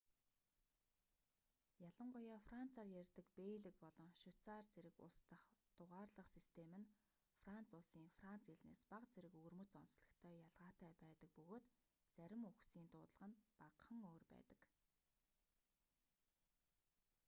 ялангуяа францаар ярьдаг бельги болон швейцарь зэрэг улс дахь дугаарлах систем нь франц улсын франц хэлнээс бага зэрэг өвөрмөц онцлогтой ялгаатай байдаг бөгөөд зарим үгсийн дуудлага нь багахан өөр байдаг